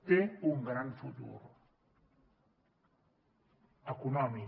té un gran futur econòmic